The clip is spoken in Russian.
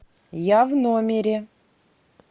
я в номере